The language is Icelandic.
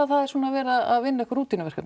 það er svona verið að vinna einhver